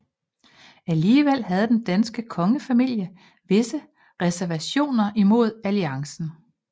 Alligevel havde den danske kongefamilie visse reservationer imod alliancen